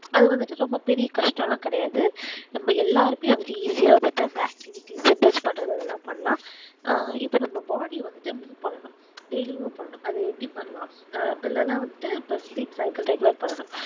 அது வந்துட்டு ரொம்ப பெரிய கஷ்டம் லாம் கெடையாது நம்ம எல்லாருக்கும் easy வந்துட்ட activitesinves பன்றதலாம் பண்ணலாம் ஆஹ் இப்போ நம்ம body ஆஹ் வந்துட்டு move பண்ணனும் dailymove பண்ணனும் அது எப்புடி பண்ணலாம் அப்புடி இல்லனா வந்துட்டு speak cycle regular பண்ணனும்